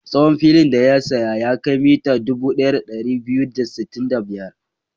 Tsawon filin da ya saya ya kai mita dubu ɗaya da ɗari biyu da sittin da biyar.